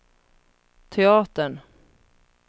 teatern